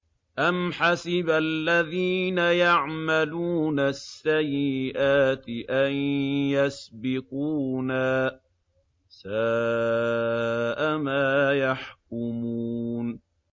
أَمْ حَسِبَ الَّذِينَ يَعْمَلُونَ السَّيِّئَاتِ أَن يَسْبِقُونَا ۚ سَاءَ مَا يَحْكُمُونَ